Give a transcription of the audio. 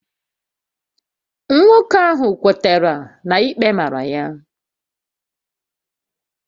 Nwoke ahụ kwetara na ikpe màrà ya